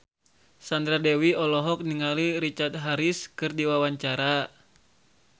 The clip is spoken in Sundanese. Sandra Dewi olohok ningali Richard Harris keur diwawancara